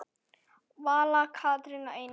Vala, Katrín og Einar.